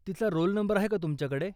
तिचा roll number आहे का तुमच्याकडे?